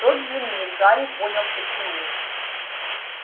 в тот же миг гарри понял почему